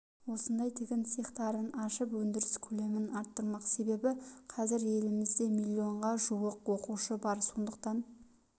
осындай тігін цехтарын ашып өндіріс көлемін арттырмақ себебі қазір елімізде миллионға жуық оқушы бар сондықтан